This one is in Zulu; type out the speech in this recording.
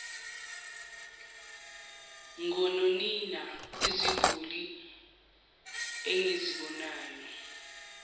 ngononina iziguli engizibonayo